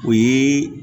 O ye